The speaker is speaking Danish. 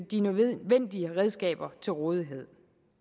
de nødvendige redskaber til rådighed